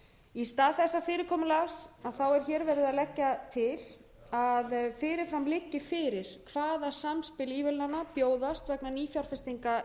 í stað þessa fyrirkomulags er verið að leggja til að fyrir fram liggi fyrir hvaða samspil ívilnana bjóðast vegna nýfjárfestinga